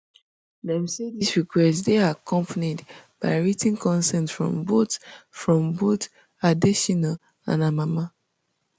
dem say dis request dey accompanied by writ ten consent from both from both adetshina and her mama